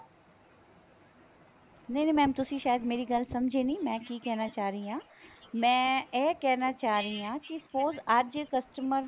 ਨਹੀਂ ਨਹੀਂ mam ਤੁਸੀਂ ਸਾਇਦ ਮੇਰੀ ਗੱਲ ਸਮਝੇ ਨਹੀਂ ਮੈਂ ਕੀ ਕਹਿਣਾ ਚਾਹ ਰਹੀ ਹਾਂ ਮੈਂ ਇਹ ਕਹਿਣਾ ਚਾਹ ਰਹੀ ਹਾਂ ਕੀ suppose ਅੱਜ customer